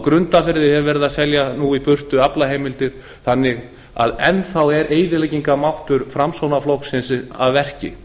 grundarfirði er nú verið að selja í burtu aflaheimildir þannig að enn þá er eyðileggingarmáttur framsóknarflokksins að verki